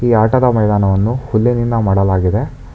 ಈ ಆಟದ ಮೈದಾನವನ್ನು ಹುಲ್ಲಿನಿಂದ ಮಾಡಲಾಗಿದೆ.